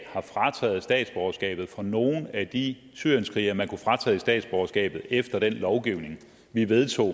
har frataget statsborgerskabet fra nogen af de syrienskrigere man kunne fratage statsborgerskabet efter den lovgivning vi vedtog